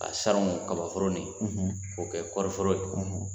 A salongo kabaforo nin, k'o kɛ kɔɔriforo ye